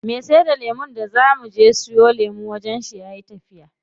Me saida lemun da zaa muje wajen shi gobe yayi tafiya.